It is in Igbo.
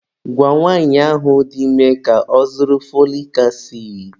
Gwa nwaanyị ahụ dị ime ka ọ zụrụ fọlik asidi.